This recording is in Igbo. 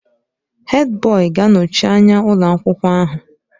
Hèdbọyi ga-anọchi anya ụlọ akwụkwọ ahụ.